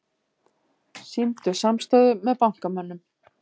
Sýndu samstöðu með bankamönnum